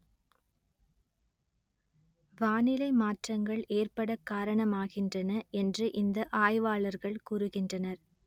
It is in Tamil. வானிலை மாற்றங்கள் ஏற்படக் காரணமாகின்றன என்று இந்த ஆய்வாளர்கள் கூறுகின்றனர்